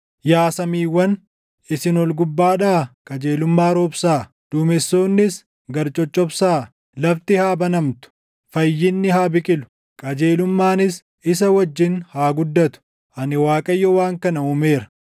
“Yaa samiiwwan, isin ol gubbaadhaa qajeelummaa roobsaa; duumessoonnis gad coccobsaa. Lafti haa banamtu; fayyinni haa biqilu; qajeelummaanis isa wajjin haa guddatu; ani Waaqayyo waan kana uumeera.